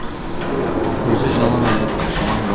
өзі жалаң аяқ жалаң бас